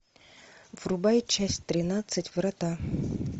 врубай часть тринадцать врата